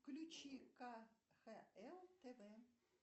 включи кхл тв